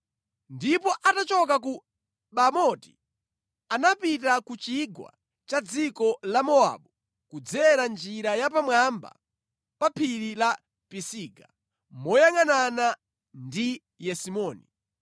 ndipo atachoka ku Bamoti anapita ku chigwa cha dziko la Mowabu kudzera njira ya pamwamba pa phiri la Pisiga, moyangʼanana ndi Yesimoni.